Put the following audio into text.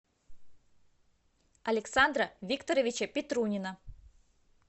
александра викторовича петрунина